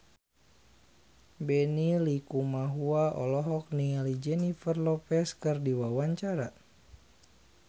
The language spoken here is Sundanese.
Benny Likumahua olohok ningali Jennifer Lopez keur diwawancara